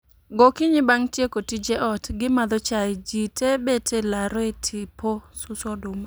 Gokinyi bang' tieko tije ot, gi madho chai, ji tee bet e laro e tipo suso oduma